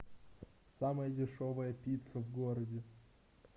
самая дешевая пицца в городе